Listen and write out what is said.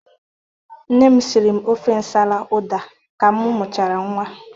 Nne m siri m ofe nsala ụda ka m mụchara nnwa.